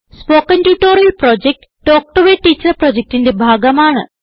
spoken tutorial project talk to a teacher പ്രൊജക്റ്റിന്റെ ഭാഗമാണ്